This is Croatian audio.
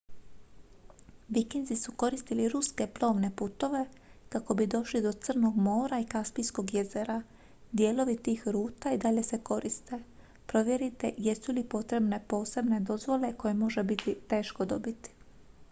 vikinzi su koristili ruske plovne putove kako bi došli do crnog mora i kaspijskog jezera dijelovi tih ruta i dalje se koriste provjerite jesu li potrebne posebne dozvole koje može biti teško dobiti